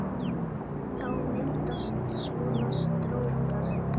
Þá myndast svona strókar